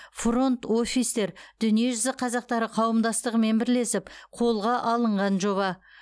фронт офистер дүниежүзі қазақтары қауымдастығымен бірлесіп қолға алынған жоба